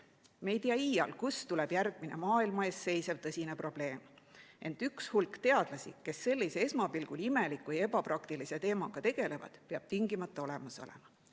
Me ei tea iial, kust tuleb järgmine maailma ees seisev tõsine probleem, ent mingi hulk teadlasi, kes sellise esmapilgul imeliku ja ebapraktilise teemaga tegelevad, peab tingimata olemas olema.